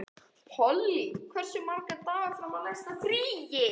Polly, hversu margir dagar fram að næsta fríi?